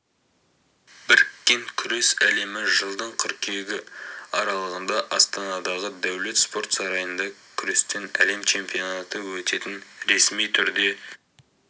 біріккен күрес әлемі жылдың қыркүйегі аралығында астанадағы дәулет спорт сарайында күрестен әлем чемпионаты өтетін ресми түрде